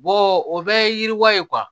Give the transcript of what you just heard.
o bɛɛ ye yiriwa ye